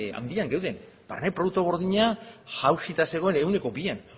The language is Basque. handian geunden barne produktu gordina jauzita zegoen ehuneko bian